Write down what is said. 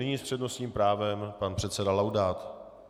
Nyní s přednostním právem pan předseda Laudát.